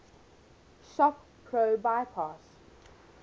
shop pro bypass